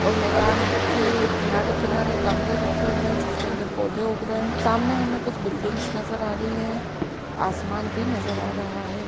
और मैदान के किनारे- किनारे गमले रखे हुए हैं जिसके अंदर पौधे उग रहे हैं। सामने हमें कुछ बिल्डिंग्स नज़र आ रही हैं आसमान भी नज़र आ रहा है।